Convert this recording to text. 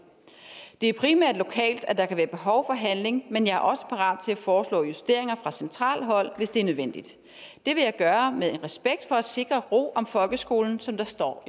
det er primært lokalt at der kan være behov for handling men jeg er også parat til at foreslå justeringer fra centralt hold hvis det er nødvendigt det vil jeg gøre med en respekt for at sikre ro om folkeskolen som der står